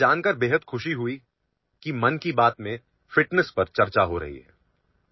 मन की बात कार्यक्रमात तंदुरुस्ती वर चर्चा होते आहे हे समजल्यावर मला अत्यंत आनंद झाला आहे